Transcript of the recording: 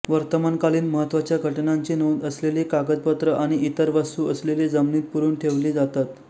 वर्तमानकालीन महत्त्वाच्या घटनांची नोंद असलेली कागदपत्रं आणि इतर वस्तू असलेली जमिनीत पुरुन ठेवली जातात